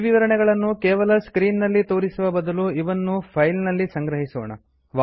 ಈ ವಿವರಣೆಗಳನ್ನು ಕೇವಲ ಸ್ಕ್ರೀನ್ ನಲ್ಲಿ ತೋರಿಸುವ ಬದಲು ಇವನ್ನು ಫೈಲ್ ನಲ್ಲಿ ಸಂಗ್ರಹಿಸೋಣ